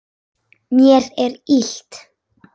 Mér er illt.